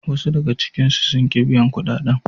Wasu daga cikinsu sun ki biyan kudaden.